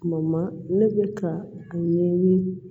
Tuma ne bɛ ka a ɲɛɲini